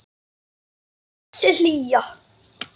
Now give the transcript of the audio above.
Og þessi hlýja.